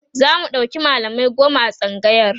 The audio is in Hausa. zamu ɗauki mallamai goma a tsangayar